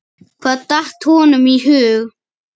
Hvað datt honum í hug?